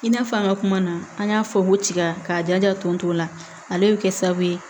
I n'a fɔ an ka kuma na an y'a fɔ ko tiga k'a jaja tonso la ale be kɛ sababu ye